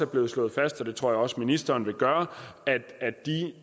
blevet slået fast og det tror jeg også ministeren vil gøre at de